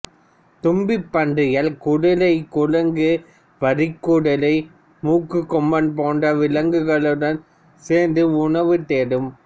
தும்பிப்பன்றிகள் குதிரை குரங்கு வரிக்குதிரை மூக்குக் கொம்பன் போன்ற விலங்குகுகளுடன் சேர்ந்து உணவு தேடும்